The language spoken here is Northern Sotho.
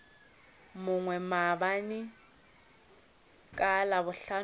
mongwe maabane ka labohlano ge